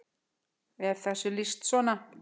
er þessu lýst svona